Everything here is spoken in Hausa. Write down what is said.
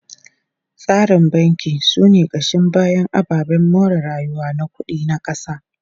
Tsarin banki sune kashin bayan ababen more rayuwa na kudi na kasa.